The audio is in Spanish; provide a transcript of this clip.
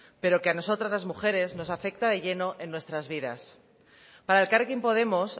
pero que a nosotras las mujeres nos afecta de lleno en nuestras vidas para elkarrekin podemos